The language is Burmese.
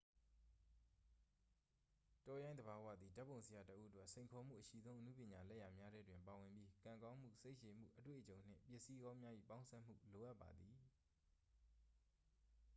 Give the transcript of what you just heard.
တောရိုင်းသဘာဝသည် ဓာတ်ပုံဆရာတစ်ဦးအတွက် စိန်ခေါ်မှုအရှိဆုံး အနုပညာလက်ရာများထဲတွင်ပါဝင်ပြီး ကံကောင်းမှု စိတ်ရှည်မှု အတွေ့အကြုံနှင့် ပစ္စည်းကောင်းများ၏ပေါင်းစပ်မှု လိုအပ်ပါသည်